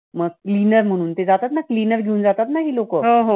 Cleaner म्हणून ते जातात ना cleaner म्हणून. ते जातात ना cleaner घेऊन जातात ना ही लोकं.